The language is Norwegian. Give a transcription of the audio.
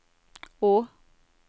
å